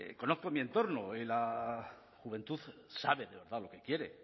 mi entorno y la juventud saben de verdad lo que quiere